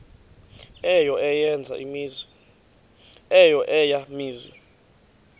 eyo eya mizi